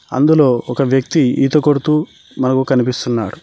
అందులో ఒక వ్యక్తి ఈత కొడుతూ మనకు కనిపిస్తున్నాడు.